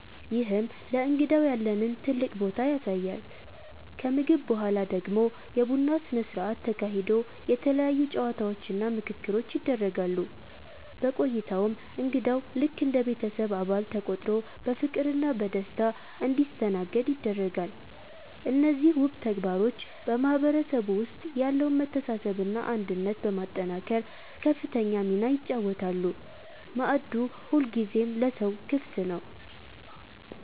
ይህም ለእንግዳው ያለንን ትልቅ ቦታ ያሳያል። ከምግብ በኋላ ደግሞ የቡና ስነ ስርዓት ተካሂዶ የተለያዩ ጨዋታዎችና ምክክሮች ይደረጋሉ። በቆይታውም እንግዳው ልክ እንደ ቤተሰብ አባል ተቆጥሮ በፍቅርና በደስታ እንዲስተናገድ ይደረጋል። እነዚህ ውብ ተግባሮች በማህበረሰቡ ውስጥ ያለውን መተሳሰብና አንድነት በማጠናከር ከፍተኛ ሚና ይጫወታሉ፤ ማዕዱ ሁልጊዜም ለሰው ክፍት ነው።